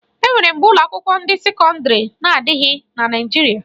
E nwere mgbe ụlọakwụkwọ ndị sekọndịrị na-adịghị na Naịjirịa